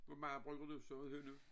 Hvor meget bruger du så af hønnu